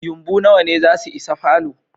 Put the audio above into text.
Yumbu nawa ne zasu isa falo?